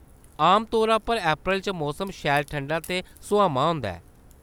आमतौरा पर अप्रैल च मौसम शैल ठंडा ते सुहामा होंदा ऐ।